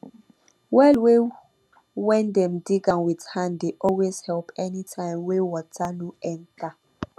well wey wen dem dig wit hand dey always help anytim wey wata no enter